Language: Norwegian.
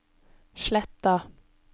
Sletta